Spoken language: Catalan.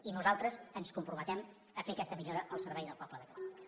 i nosaltres ens comprometem a fer aquesta millora al servei del poble de catalunya